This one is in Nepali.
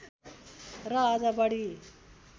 र अझ बढी